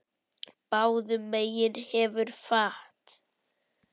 Báðum megin hefur fat.